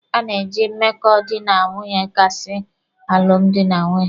A na-eji mmekọ dị na nwunye akasị alụmdi na nwunye.